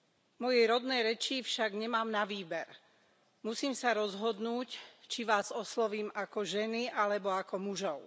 V mojej rodnej reči však nemám na výber musím sa rozhodnúť, či vás oslovím ako ženy alebo ako mužov.